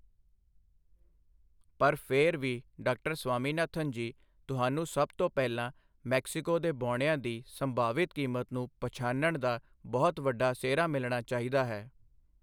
ਪਰ ਫਿਰ ਵੀ, ਡਾ. ਸਵਾਮੀਨਾਥਨ ਜੀ, ਤੁਹਾਨੂੰ ਸਭ ਤੋਂ ਪਹਿਲਾਂ ਮੈਕਸੀਕੋ ਦੇ ਬੌਣਿਆਂ ਦੀ ਸੰਭਾਵਿਤ ਕੀਮਤ ਨੂੰ ਪਛਾਣਨ ਦਾ ਬਹੁਤ ਵੱਡਾ ਸਿਹਰਾ ਮਿਲਣਾ ਚਾਹੀਦਾ ਹੈ।